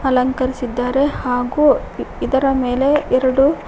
ಅಲಂಕರಿಸಿದ್ದಾರೆ ಹಾಗು ಇದರ ಮೇಲೆ ಎರಡು--